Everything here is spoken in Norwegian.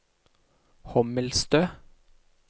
Hommelstø